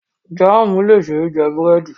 Jaamu le ṣee jẹ buredi